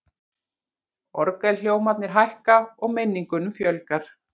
Orgelhljómarnir hækka, og minningunum fjölgar.